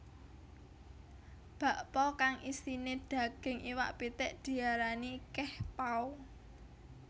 Bakpao kang isiné daging iwak pitik diarani kehpao